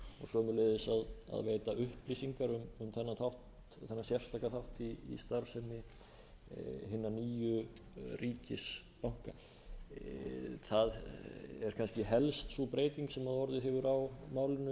veita upplýsingar um þennan sérstaka þátt í starfsemi hinna nýju ríkisbanka það er kannski helst sú breyting sem orðið hefur á málinu í meðförum nefndarinnar það er annars vegar